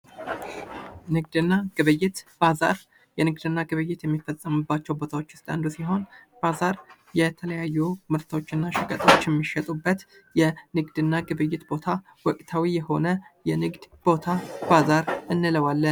ንግድ እና ግብይት ባዛር ንግድ እና ግብይት የሚፈጸምባቸው ቦታዎች ዉስጥ አንዱ ሲሆን፤ ባዛር የተለያዩ ምርቶች እና ሸቀጦች የሚሸጡበት የንግድ እና ግብይት ቦታ ወቅታዊ የሆነ የንግድ ቦታ ባዛር እንለዋለን።